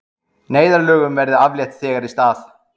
Neyðarlögum verði aflétt þegar í stað